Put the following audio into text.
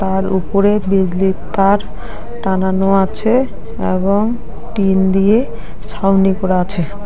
আর উপরে বিজলির তার টানানো আছে এবং টিন দিয়ে ছাউনি করা আছে।